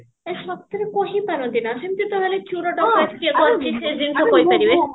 ଏଇ ସତରେ କହିପାରନ୍ତି ନା ସେମଟି ତ ହେଲେ ଚୋର ଡକାଇତ କିଏ କରିଚି ସେ ଜିନିଷ କହିପାରିବେ